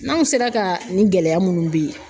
N'anw sera ka nin gɛlɛya munnu bɛ yen.